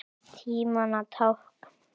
Tímanna tákn?